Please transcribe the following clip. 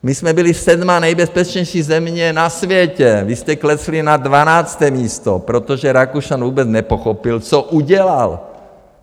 My jsme byli sedmá nejbezpečnější země na světě, vy jste klesli na dvanácté místo, protože Rakušan vůbec nepochopil, co udělal.